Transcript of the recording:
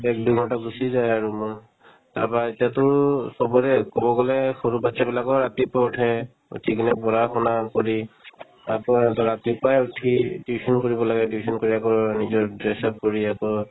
এক দুই ঘণ্টা গুচি যায় আৰু মোৰ তাৰপাই এতিয়াতো চবৰে ক'ব গ'লে সৰু batches বিলাকও ৰাতিপুৱা উঠে উঠি কিনে পঢ়া -শুনা কৰি তাৰপৰাই সিহঁতে ৰাতিপুৱাই উঠি tuition কৰিব লাগে tuition কৰি আকৌ নিজৰ dress up কৰি আকৌ